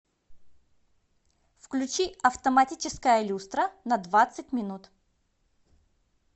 включи автоматическая люстра на двадцать минут